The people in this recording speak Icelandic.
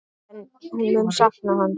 En hún mun sakna hans.